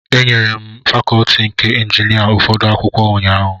Enyere m fakọlti nke injinia ụfọdụ akwụkwọ ụnyahụ.